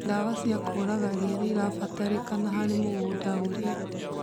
Ndawa cia kũraga ria nĩirabatarĩkana harĩ mũgũnda ũrĩa